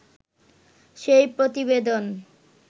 সেই প্রতিবেদন